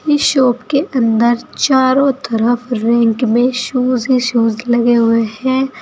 इस शॉप के अंदर चारों तरफ रैंक में शूज ही शूज लगे हुए हैं।